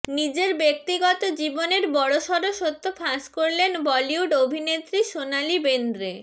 নিজের ব্যক্তিগত জীবনের বড়সড় সত্য ফাঁস করলেন বলিউড অভিনেত্রী সোনালি বেন্দ্রে